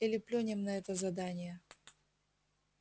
или плюнем на это задание